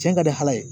Cɛn ka di ala ye